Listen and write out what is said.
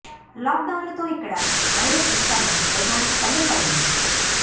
lock down లతో ఇక్కడ virus విస్తరణ వేగానికి కళ్లెం పడింది